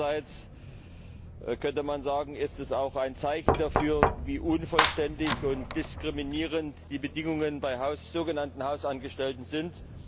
Andererseits könnte man sagen, ist es auch ein Zeichen dafür, wie unvollständig und diskriminierend die Bedingungen bei sogenannten Hausangestellten sind.